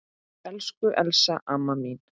Elsku Elsa amma mín.